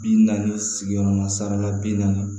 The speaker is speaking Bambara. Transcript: Bi naani sigiyɔrɔma saba la bi naani